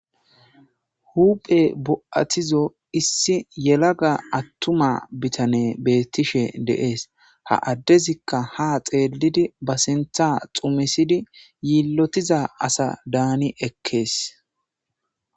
huphe bo7atizo issi yelaga attuma bitane beettishe deees ha addezikka ha xeelidi ba sintha xumisidi yiillotiza asa daani ekkees